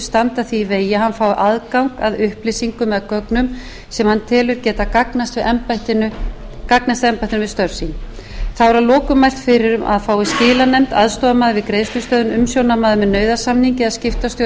standa því í vegi að hann fái aðgang að upplýsingum eða gögnum sem hann telur geta gagnast embættinu við störf sín þá er að lokum mælt fyrir um að fái skilanefnd aðstoðarmaður við greiðslustöðvun umsjónarmaður með nauðasamningi eða skiptastjóri